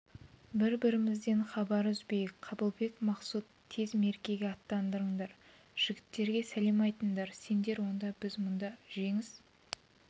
бірі-бірімізден хабар үзбейік қабылбек мақсұт тез меркеге аттаныңдар жігіттерге сәлем айтыңдар сендер онда біз мұнда жеңіс